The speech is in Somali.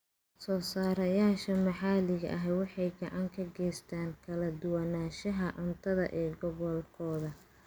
Soosaarayaasha maxalliga ahi waxay gacan ka geystaan ??kala duwanaanshaha cuntada ee gobolkooda.